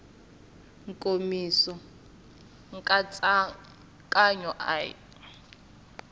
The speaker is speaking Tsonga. nkomiso nkatsakanyo a hi wa